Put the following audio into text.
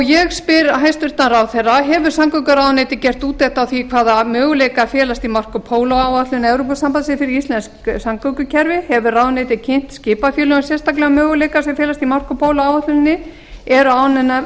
ég spyr hæstvirtur ráðherra fyrstu hefur samgönguráðuneytið gert úttekt á því hvaða möguleikar felast í marco polo áætlun evrópusambandsins fyrir íslenskt samgöngukerfi annars hefur ráðuneytið kynnt skipafélögum sérstaklega möguleika sem felast í marco polo áætluninni þriðju eru